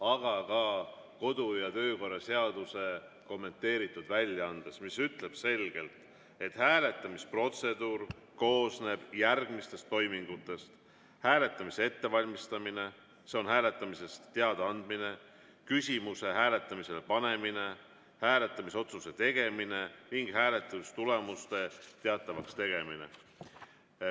Aga ka kodu‑ ja töökorra seaduse kommenteeritud väljaanne ütleb selgelt, et hääletamisprotseduur koosneb järgmistest toimingutest: hääletamise ettevalmistamine, hääletamisest teadaandmine, küsimuse hääletamisele panemine, hääletamisotsuse tegemine ning hääletamistulemuste teatavaks tegemine.